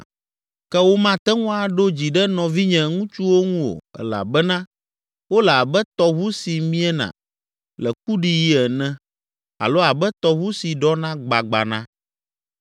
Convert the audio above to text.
Ke womate ŋu aɖo dzi ɖe nɔvinye ŋutsuwo ŋu o elabena wole abe tɔʋu si miena le kuɖiɣi ene alo abe tɔʋu si ɖɔna gbagbana,